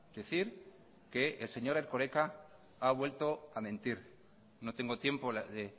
decir que el señor erkoreka ha vuelto a mentir no tengo tiempo de